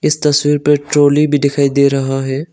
इस तस्वीर पे ट्राली भी दिखाई दे रहा है।